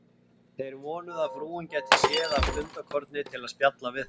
Þeir vonuðu, að frúin gæti séð af stundarkorni til að spjalla við þá.